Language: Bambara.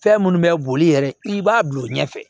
Fɛn minnu bɛ boli yɛrɛ i b'a bila o ɲɛfɛ